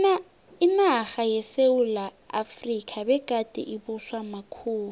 inarha yesewula efrika begade ibuswa makhuwa